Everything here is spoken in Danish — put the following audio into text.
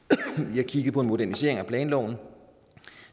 vi har kigget på en modernisering af planloven